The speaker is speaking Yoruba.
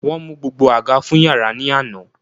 Won mu gbogbo aga fun yara ni ana